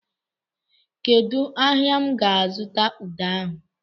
Kedụ ahịa m ga-azụta ude ahụ?